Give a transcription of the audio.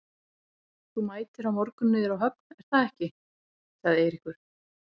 Þú mætir á morgun niður á höfn, er það ekki? sagði Eiríkur.